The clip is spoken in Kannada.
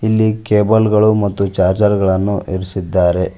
ಇಲ್ಲಿ ಕೇಬಲ್ ಗಳು ಮತ್ತು ಚಾರ್ಜರ್ ಗಳನ್ನು ಇರ್ಸಿದ್ದಾರೆ.